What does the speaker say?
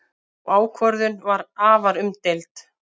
Sú ákvörðun var afar umdeild.